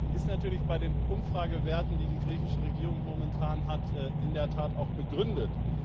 Die ist natürlich bei den Umfragewerten, die die griechische Regierung momentan hat, in der Tat auch begründet.